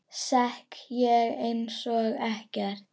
Sekk ég einsog ekkert.